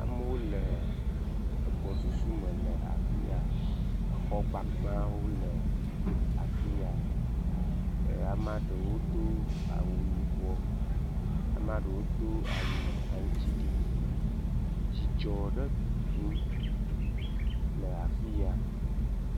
Amewo le egbɔ susu me le afiya. Exɔ gbagbawo le afiya eye amea ɖewo do awu yibɔ, amea ɖewo do awu aŋutiɖiɖi. Dzidzɔ ɖe tutum le afiya